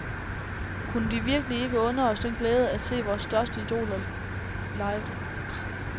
Kunne de virkelig ikke unde os den glæde at se vores største idoler live.